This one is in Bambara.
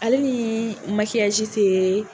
Ale ni te